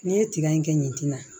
N'i ye tiga in kɛ yen tina